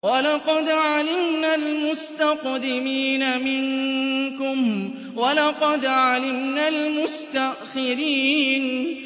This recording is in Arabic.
وَلَقَدْ عَلِمْنَا الْمُسْتَقْدِمِينَ مِنكُمْ وَلَقَدْ عَلِمْنَا الْمُسْتَأْخِرِينَ